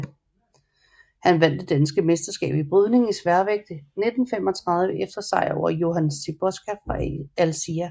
Han vandt det danske mesterskab i brydning i sværvægt 1935 efter sejer over Johan Siboska fra Alsia